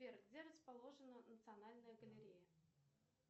сбер где расположена национальная галерея